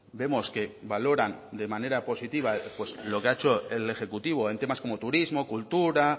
vemos que valoran de manera positiva lo que ha hecho el ejecutivo en temas como turismo cultura